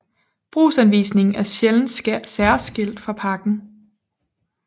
Brugsanvisningen er sjældent særskilt fra pakken